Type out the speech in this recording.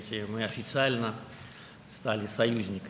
Biz rəsmi olaraq müttəfiq olduq.